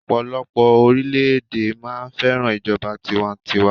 ọpọlọpọ orilẹ ede máa fẹràn ijoba tiwantiwa